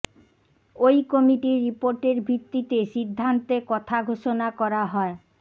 ওই কমিটির রিপোর্টের ভিত্তিতে সিদ্ধান্তে কথা ঘোষণা করা হয়